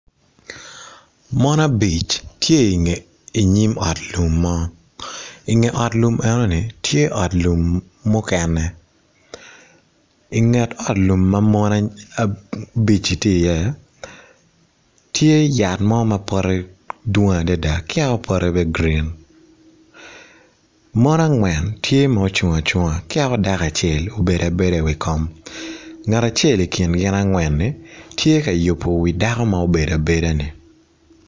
Mon abic tye i nyim ot lum mo, i nge ot lum enoni tye ot lum mukene i nget ot ma mon abici tye i ye tye yat mo ma pote dwong adada tye o pote magrin, mon angwen tye ma ocung acunga kiyak dako acel obedo abeda i wi kom ngat acel i kin gin angwen gi tye ka yubo wi dako ma obedo abeda ni.